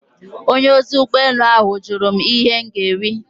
Onye ozi ụgbọ elu ahụ jụrụ m ihe m ga-eri.